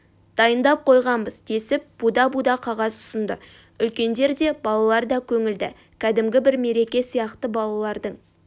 дайындап қойғанбыз десіп буда-буда қағаз ұсынды үлкендер де балалар да көңілді кәдімгі бір мереке сияқты балалардың